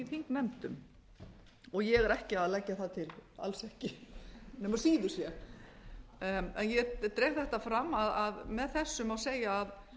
þingnefndum ég er ekki að leggja það til alls ekki nema síður sé ég dreg þetta fram að með þessu má segja að